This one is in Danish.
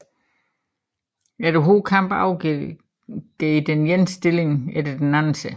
Efter hård kamp overgav den ene stilling efter den anden sig